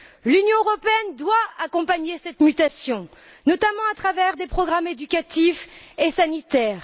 L'Union européenne doit accompagner cette mutation, notamment à travers des programmes éducatifs et sanitaires.